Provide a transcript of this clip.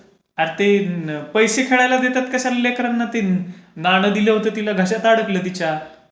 अरे ते पैसे खायला कशाला देतात लेकरांना? नाणं दिलं होतं तिला. घशात अडकल तिच्या.